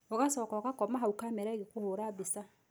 Ũgacoka ũgakoma hau kamera ĩgĩkũhũra mbica.